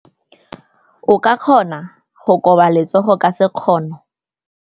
O ka kgona go koba letsogo ka sekgono.